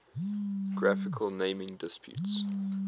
geographical naming disputes